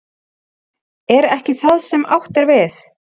Er ekki það sem átt er við?